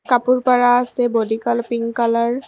কাপোৰ পাৰা আছে বডি কালাৰ পিঙ্ক কালাৰ ।